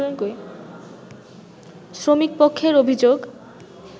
শ্রমিকপক্ষের অভিযোগ